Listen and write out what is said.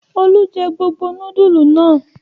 Olú jẹ gbogbo núdúlù náà?